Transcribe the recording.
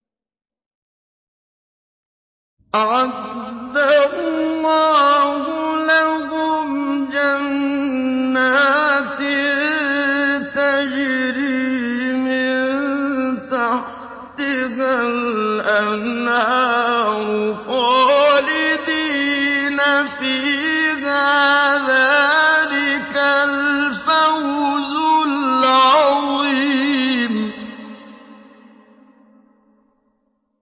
أَعَدَّ اللَّهُ لَهُمْ جَنَّاتٍ تَجْرِي مِن تَحْتِهَا الْأَنْهَارُ خَالِدِينَ فِيهَا ۚ ذَٰلِكَ الْفَوْزُ الْعَظِيمُ